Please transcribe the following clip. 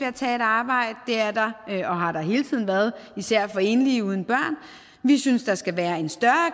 at tage et arbejde det er der og har der hele tiden været især for enlige uden børn vi synes der skal være en større